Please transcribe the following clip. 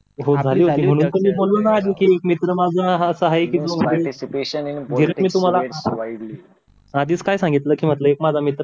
हो म्हणून तर मी बोललो नाही एक मित्र माझा असा आहे कि तो डायरेक्ट मी तुम्हाला आधीच काय सांगितलं की माझा एक मित्र आहे